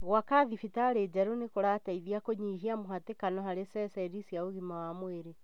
Gwaka thibitarĩ njerũ nĩkũrateithia kũnyihia mũhatĩkano harĩ ceceni cia ũgima wa mwĩrĩ